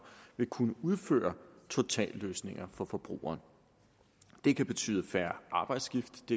vil kunne udføre totalløsninger for forbrugeren det kan betyde færre arbejdsskift